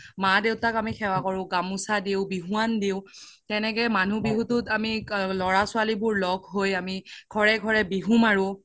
মা দেউতাক আমি সেৱা কৰো গামোচা দিও বিহুৱান দিও তেনেকে মনুহ বিহুতোত আমি ল্'ৰা ছোৱালি বোৰ ল্'গ হৈ আমি ঘৰে ঘৰে বিহু মাৰো